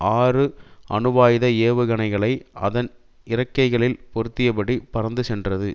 ஆறு அணுவாயுத ஏவுகணைகளை அதன் இறக்கைகளில் பொருத்தியபடி பறந்து சென்றது